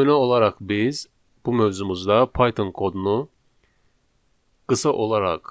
Nümunə olaraq biz bu mövzumuzda Python kodunu qısa olaraq